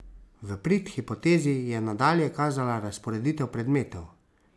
V prid hipotezi je nadalje kazala razporeditev predmetov.